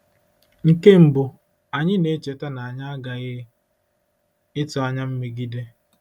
Nke mbụ, anyị na-echeta na anyị aghaghị ịtụ anya mmegide.